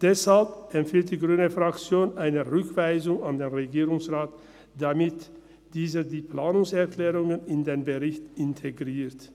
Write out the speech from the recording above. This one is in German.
Deshalb empfiehlt die grüne Fraktion eine Rückweisung an den Regierungsrat, damit dieser die Planungserklärungen in den Bericht integriert.